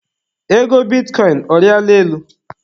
Ego bitikọịn, ọ riala elu?